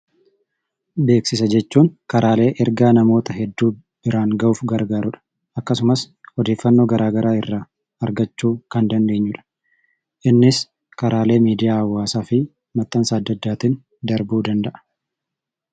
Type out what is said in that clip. Beeksisa jechuun karaalee ergaa namoota hedduu biraan ga'uuf gargaarudha. Akkasumas odeeffannoo gara garaa irraa argachuu kan dandeenyudha. Innis karaalee miidiyaa hawaasaafi maxxansa adda addaatin darbuu danda'a.